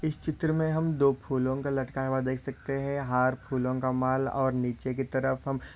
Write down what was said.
इस चित्र मे हम दो फूलों को लटकाया हुआ देख सकते है। हार फूलों का माल और नीचे की तरफ हम--